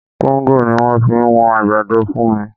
Kóńgò ni wọ́n fi wọn àgbàdo fún mi